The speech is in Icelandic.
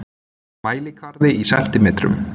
Mælikvarði í sentimetrum.